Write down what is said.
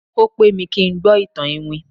o pẹ mi kin gbó itan iwin